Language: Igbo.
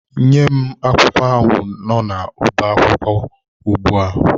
Nye m akwụkwọ ahụ n'ọbá akwụkwọ ugbu a!